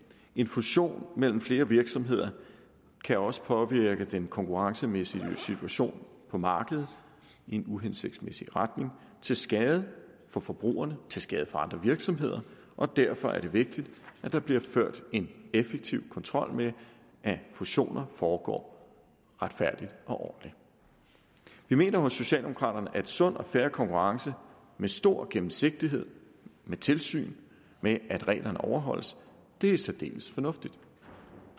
en fusion mellem flere virksomheder kan også påvirke den konkurrencemæssige situation på markedet i en uhensigtsmæssig retning til skade for forbrugerne til skade for andre virksomheder og derfor er det vigtigt at der bliver ført en effektiv kontrol med at fusioner foregår retfærdigt og ordentligt vi mener hos socialdemokraterne at sund og fair konkurrence med stor gennemsigtighed og med tilsyn med at reglerne overholdes er særdeles fornuftigt